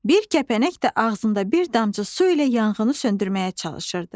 Bir kəpənək də ağzında bir damcı su ilə yanğını söndürməyə çalışırdı.